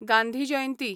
Gandhi Jayanti